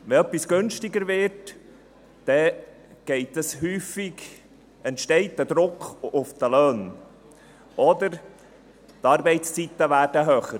Wenn etwas günstiger wird, entsteht häufig ein Druck auf die Löhne, oder die Arbeitszeiten werden höher.